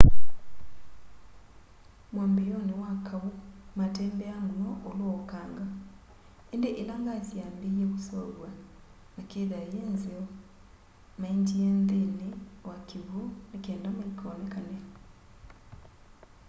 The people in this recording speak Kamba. mwambiioni wa kaũ matembeaa muno ulũ wa ukanga indĩ ila ngasi yaambie kuseuvya na kitha nyĩ nzeo maendie nthini wa kiwũ ni kenda maikonekane